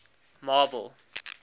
marble